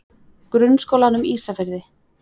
Grunnskólanum Ísafirði